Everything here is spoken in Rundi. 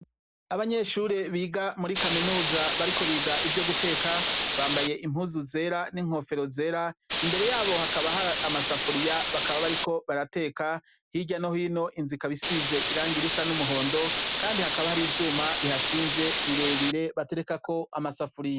Abanyeshure biga muri kaminuza bariko biga ivyo guteka, bambaye impuzu zera n'inkofero zera, imbere yabo hakaba har'amasafuriya bakaba bariko barateka, hirya no hino inzu ikaba isize irangi risa n'umuhondo Kandi hakaba har'ivyuma bihashinze birebire baterekako amasafuriya.